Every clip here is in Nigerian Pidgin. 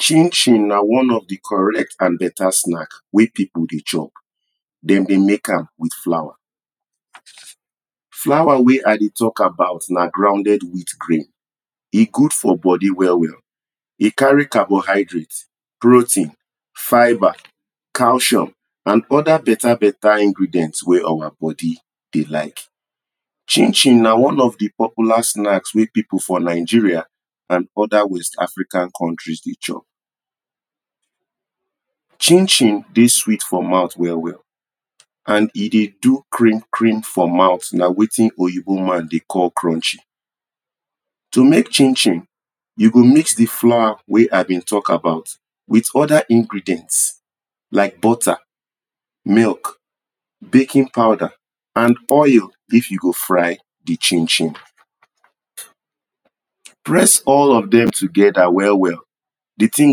Chin-chin na one of di correct and better snacks wen people dey chop, dem dey make am with flour, flour wey I dey talk about na grounded wheat grain e good for body well well, e carry carbohydrate, protein, fibre, calcium and other better better ingredients wey our body dey like, chin-chin na one of the popular snacks wey people for Nigeria and other west African countries dey chop, chin-chin dey sweet for mouth well well and e dey do krim-krim for mouth na wetin oyibo man dey call crunch. To make chin-chin you go mix di flour wen I dey talk about with other ingredients, Like butter, milk, baking powder and oil if you go fry di chin-chin press all of dem together well well di thing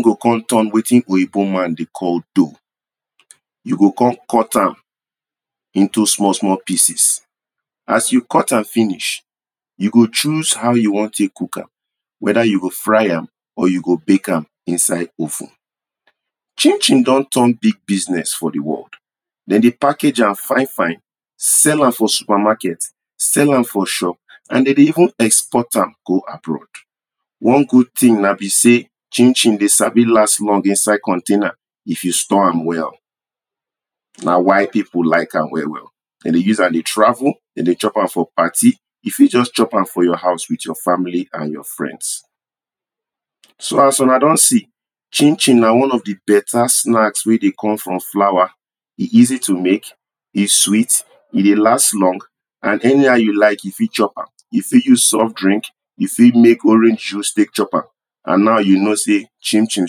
go come turn wetin oyibo man dey call dough. you go comem cut am into small small pieces, as you cut am finish, you go choose how you wan take cook am whether you go fry am or you go bake am inside oven Chin-chin don turn big business for di world, dem dey package am fine fine sell for supermarket, sell am for shop and dem dey even export am go abroad. One good thing na be sey, chin-chin dey sabi last long inside container if you store am well, na why people like am well well. Dem dey use am dey travel, dem dey chop am for party, you fit just chop am for your house with your family and your friends. so as una don see, chin-chin na one of di better snacks wen dey come from flour, e easy to make, e sweet, e dey last long and anyhow you like you fit chop am you fit use soft drink you fit make orange juice take chop am. And now you know sey chin-chin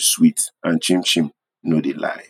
sweet and chin-chin no dey lie.